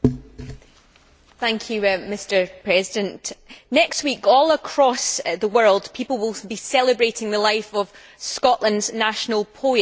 Mr President, next week, all across the world, people will be celebrating the life of Scotland's national poet, Robert Burns.